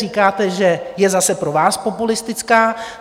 Říkáte, že je zase pro vás populistická.